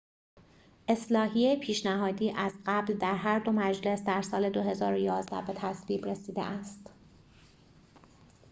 اصلاحیه پیشنهادی از قبل در هر دو مجلس در سال ۲۰۱۱ به تصویب رسیده است